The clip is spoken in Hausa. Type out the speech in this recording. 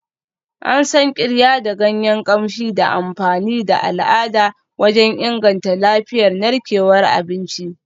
An san Qirya da ganyen kamshi da amfani da al'ada wajen inganta lafiyar narkewar abinci.